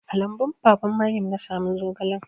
A lambun baban Maryam na samu zogalan.